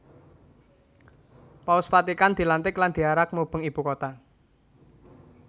Paus Vatikan dilantik lan diarak mubeng ibu kota